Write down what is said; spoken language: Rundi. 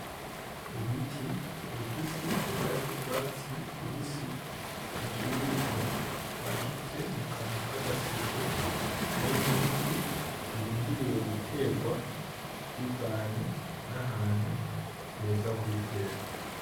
Ibiti bifise ibara ry’urwatsi rubisi bikiri bito bashize mu kantu K’agaseke karimwo ivu birindiriwe guterwa bivanye n'ahantu heza ho kubitera.